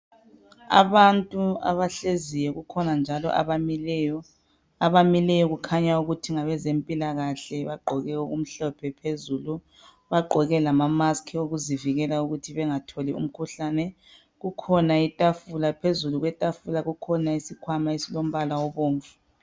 Abantu abahleziyo kukhona njalo abamileyo. Abamileyo kukhanya ukuthi ngabezempilakahle bagqoke okumhlophe phezulu. Bagqoke lama maski okuzivikela ukuthi bengatholi umkhuhlane. Kukhona itafula phezulu kwetafula kukhona isikhwama esilombala obomvu.